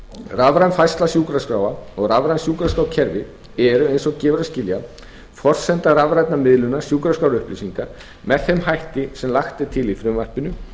rafræn færsla sjúkraskráa og rafræn sjúkraskrárkerfi eru eins og gefur að skilja forsenda rafrænnar miðlunar sjúkraskrárupplýsinga með þeim hætti sem lagt er til í frumvarpinu